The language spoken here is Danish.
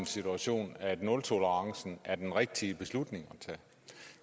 situation at nultolerancen var den rigtige beslutning at tage